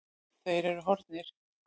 Þeir eru horfnir.